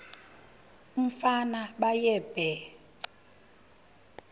umfana baye bee